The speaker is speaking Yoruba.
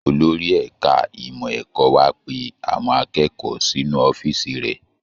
Olórí ẹ̀ka ìmọ̀ ẹ̀kọ́ wa pe awon akẹ́kọ̀ọ́ sínú ọ̀fíìsì rẹ̀